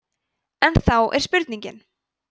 en þá er spurningin